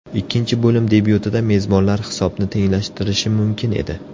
Ikkinchi bo‘lim debyutida mezbonlar hisobni tenglashtirishi mumkin edi.